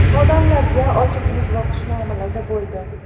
Odamlarga ochiq yuz va xushmuomalada bo‘ldi.